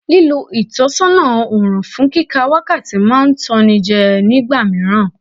Lílọ ìtọ̀sán òrùn fún kíka wákàtí máa ń tan ni jẹ́ ní ìgbà míràn.